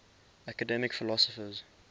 academic philosophers